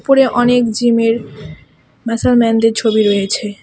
উপরে অনেক জিমের ম্যাসাল ম্যানদের ছবি রয়েছে .